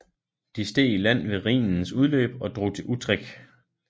De steg i land ved Rhinens udløb og drog til Utrecht